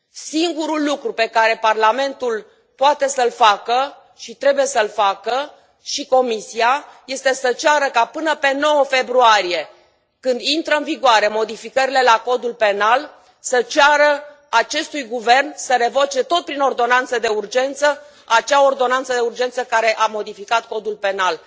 Singurul lucru pe care Parlamentul poate să l facă și trebuie să l facă, și Comisia, este să ceară ca, până pe 9 februarie, când intră în vigoare modificările la Codul penal să ceară acestui guvern să revoce tot prin ordonanță de urgență acea ordonanță de urgență care a modificat Codul penal.